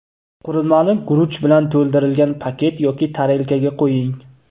Qurilmani guruch bilan to‘ldirilgan paket yoki tarelkaga qo‘ying.